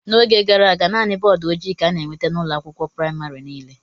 N'oge gara aga, naanị bọọdụ ojii ka a na-enweta n'ụlọ akwụkwọ praịmarị niile.